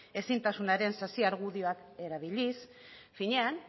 ezintasunaren sasi argudioak erabiliz finean